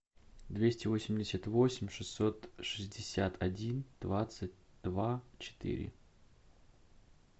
двести восемьдесят восемь шестьсот шестьдесят один двадцать два четыре